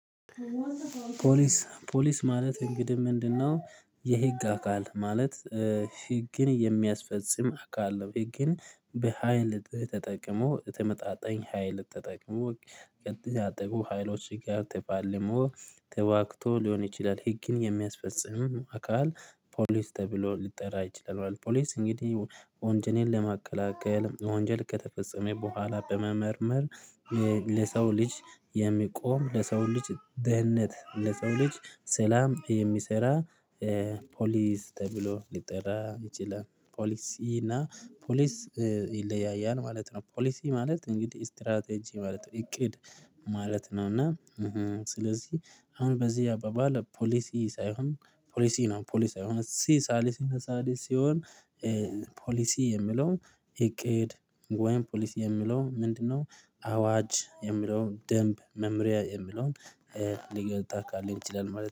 ፖሊስ ፖሊስ ማለት እንግዲህ ምንድነው? የህግ አካል ማለት ህግን የሚያስፈጽም አካል ነው። ይህ ግን በሃይል ተጠቅሞ ተመጣጣኝ ሀይል ተጠቅሞ ተጠቅሞ ሀይሎች ጋር ተባልሞ ተዋግቶ ሊሆን ይችላል። ህግን የሚያስፈጽም አካል ፖሊስ ተብሎ ሊጠራ አይችልም። ፖሊስ እንግዲህ ወንጀልን ለማቀላቀል ወንጀል ከተፈጸመ በኋላ በመመርመር ለሰው ልጅ የሚቆም ለሰው ልጅ ደህንነት ለሰው ልጅ ሰላም የሚሰራ ፖሊስ ተብሎ ሊጠራ ይችላል። ፖሊሲ እና ፖሊስ ይለያያል ማለት ነው። ፖሊሲ ማለት እንግዲህ ስትራቴጂ ማለት እቅድ ማለት ነው። እና ስለዚህ አሁን በዚህ አባባል ፖሊሲ ሳይሆን ፖሊሲ ነው። ፖሊሲ የሆነ ሲ ሳሊስ ሳሊስ ሲሆን ፖሊሲ የሚለው እቅድ ወይም ፖሊስ የሚለው ምንድነው? አዋጅ የሚለውን ደንብ መምሪያ የሚለውን ሊተካልን ይችላል ማለት ነው